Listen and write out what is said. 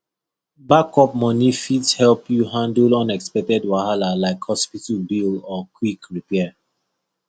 backup money fit help you handle unexpected wahala like hospital bill or quick repair